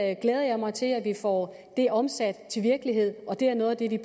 jeg glæder mig til at vi får det omsat til virkelighed og det er noget af det vi